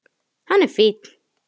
Hann er fínn.